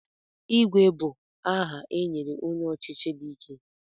Igwe bụ aha e nyere onye ọchịchị dị ike.